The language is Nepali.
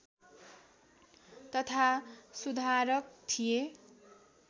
तथा सुधारक थिए